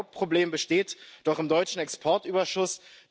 Und ein Hauptproblem besteht doch am deutschen Exportüberschuss.